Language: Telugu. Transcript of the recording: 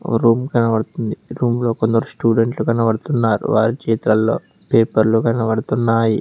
ఒ రూమ్ కనబడుతుంది రూమ్ లో కొందరు స్టూడెంట్లు కనపడుతున్నారు వారి చేతల్లో పేపర్లు కనబడుతున్నాయి.